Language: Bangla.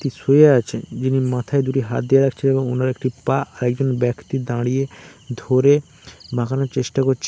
শুয়ে আছে যিনি মাথায় দুটি হাত দিয়ে রাখছেন এবং উনার একটি পা আরেকজন ব্যক্তি দাঁড়িয়ে ধরে বাঁকানো চেষ্টা করছে।